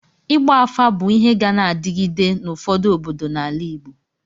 Ịgba afa bụ ịhe ga na-adịgide n'ụfọdụ obodo n'ala Igbo